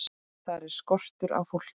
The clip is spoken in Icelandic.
Þar er skortur á fólki.